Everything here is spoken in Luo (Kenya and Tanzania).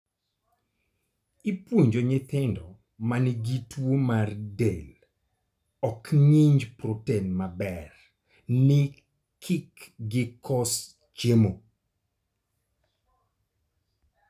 Ipuonjo nyithindo ma nigi tuo ma del ok ng'inj proten maber ni kik gi kos chiemo.